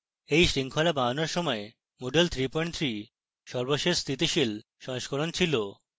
at শৃঙ্খলা বানানোর সময় moodle 33 সর্বশেষ স্থিতিশীল সংস্করণ ছিল